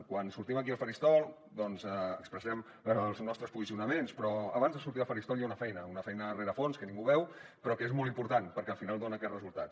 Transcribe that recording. quan sortim aquí al faristol doncs expressem els nostres posicionaments però abans de sortir al faristol hi ha una feina una feina de rerefons que ningú veu però que és molt important perquè al final dona aquests resultats